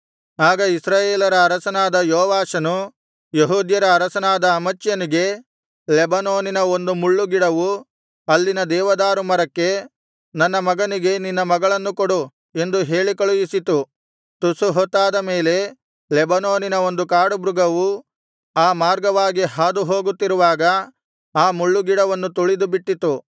ಆಗ ಇಸ್ರಾಯೇಲರ ಅರಸನಾದ ಯೋವಾಷನು ಯೆಹೂದ್ಯರ ಅರಸನಾದ ಅಮಚ್ಯನಿಗೆ ಲೆಬನೋನಿನ ಒಂದು ಮುಳ್ಳುಗಿಡವು ಅಲ್ಲಿನ ದೇವದಾರು ಮರಕ್ಕೆ ನನ್ನ ಮಗನಿಗೆ ನಿನ್ನ ಮಗಳನ್ನು ಕೊಡು ಎಂದು ಹೇಳಿ ಕಳುಹಿಸಿತು ತುಸು ಹೊತ್ತಾದ ಮೇಲೆ ಲೆಬನೋನಿನ ಒಂದು ಕಾಡುಮೃಗವು ಆ ಮಾರ್ಗವಾಗಿ ಹಾದು ಹೋಗುತ್ತಿರುವಾಗ ಆ ಮುಳ್ಳುಗಿಡವನ್ನು ತುಳಿದು ಬಿಟ್ಟಿತು